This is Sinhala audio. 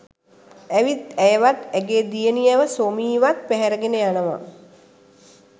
ඇවිත් ඇයවත් ඇගේ දියණියව සෝමි වත් පැහැරගෙන යනවා